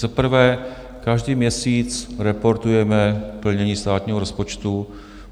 Za prvé, každý měsíc reportujeme plnění státního rozpočtu.